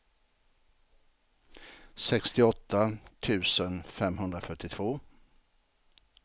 sextioåtta tusen femhundrafyrtiotvå